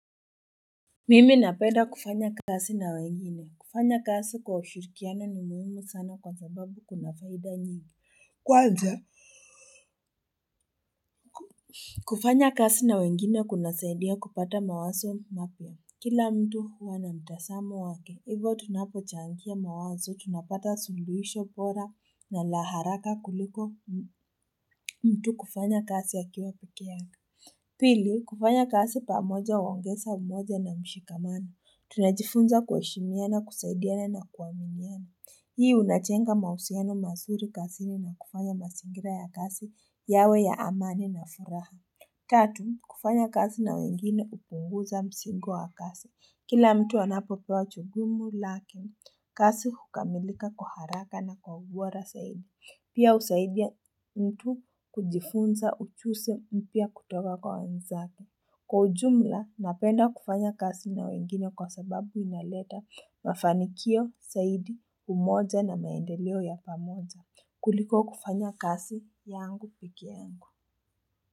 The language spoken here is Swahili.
Mimi napenda kufanya kasi na wengine, kufanya kazi kwa ushirikiana ni muhimu sana kwa sababu kuna faida nyingi, kwanza kufanya kazi na wengine kunasaidia kupata mawazo mapya. Kila mtu huwa na mtazamo wake, hivyo tunapochangia mawazo tunapata suluhisho bora na la haraka kuliko mtu kufanya kazi akiwa peke yake pili kufanya kazi pamoja huongeza umoja na mshikamani tunajifunza kuheshimia na kusaidiana na kuaminiana hii unajenga mahusiano mazuri kazini na kufanya mazingira ya kazi yawe ya amani na furaha tatu kufanya kazi na wengine hupunguza mzigo wa kasi Kila mtu anapopewa jukuumu lake, kazi hukamilika kwa haraka na kwa ugwara zaidi. Pia husaidia mtu kujifunza ujuzi mpya kutoka kwa wenzake. Kwa ujumla, napenda kufanya kazi na wengine kwa sababu inaleta mafanikio, zaidi, umoja na maendeleo ya pamoja. Kuliko kufanya kazi yangu peke yangu.